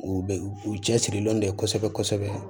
U bɛ u cɛsirilen de kosɛbɛ kosɛbɛ